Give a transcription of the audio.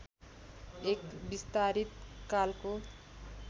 एक विस्तारित कालको